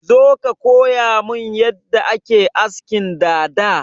Zo ka koyamin yadda ake askin dada!